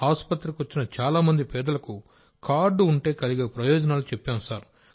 ఆసుపత్రికి వచ్చిన చాలా మంది పేదలకు కార్డు ఉంటే కలిగే ప్రయోజనాలు చెప్పాం సార్